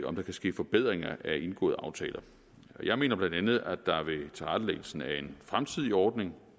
om der kan ske forbedringer af indgåede aftaler jeg mener bla at der ved tilrettelæggelsen af en fremtidig ordning